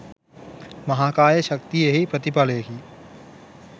මහාකාය ශක්තිය එහි ප්‍රතිඵලයකි.